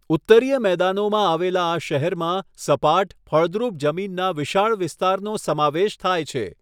ઉત્તરીય મેદાનોમાં આવેલા આ શહેરમાં સપાટ, ફળદ્રુપ જમીનના વિશાળ વિસ્તારનો સમાવેશ થાય છે.